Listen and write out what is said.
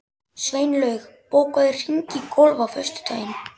Sveinlaug, bókaðu hring í golf á föstudaginn.